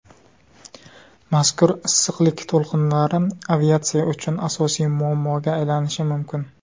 Mazkur issiqlik to‘lqinlari aviatsiya uchun asosiy muammoga aylanishi mumkin.